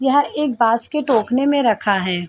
यह एक बास के टोखने में रखा है।